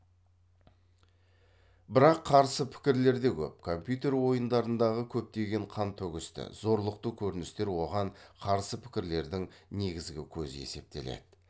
бірақ қарсы пікірлер де көп компьютер ойындарындағы көптеген қантөгісті зорлықты көріністер оған қарсы пікірлердің негізгі көзі есептеледі